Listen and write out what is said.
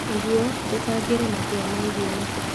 ũguo, tũcangĩre matua megie mabuku.